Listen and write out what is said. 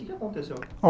O que é que aconteceu?